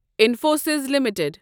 Infosys limited